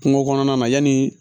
Kungo kɔnɔna na yanni